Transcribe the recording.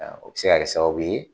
O bi se kɛ sababu ye